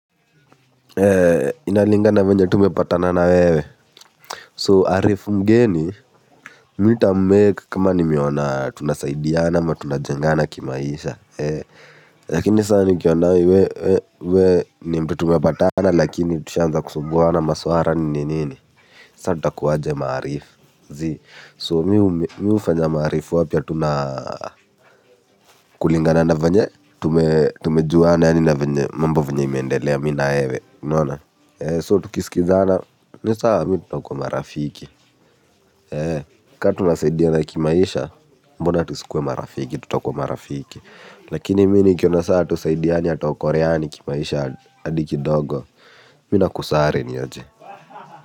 Inalingana venye tumepatana na wewe so arifu mgeni mi ntammake kama nimeona tunasaidiana ama tunajengana kimaisha. Lakini sasa nikiona we we we ni mtu tumepatana lakini tushaanza kusumbuana maswara nini nini, sa ntakuwaje maarif, zii. So mi hufanja maarif wapya na kulingana na venye tumejuana yaani na venye mambo venye imeendelea mi na wewe, unaona, so tukisikizana, ni sawa mi tutakuwa marafiki. Ka tunasaidiana kimaisha, mbona tusikuwe marafiki, tutakuwa marafiki. Lakini mi nikiona saa hatusaidiani hatuokoreani kimaisha adi kidogo, mi nakusare ni aje.